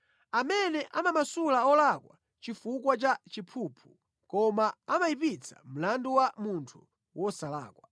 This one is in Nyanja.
amene amamasula olakwa chifukwa cha chiphuphu koma amayipitsa mlandu wa munthu wosalakwa.